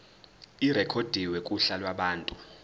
irekhodwe kuhla lwabantu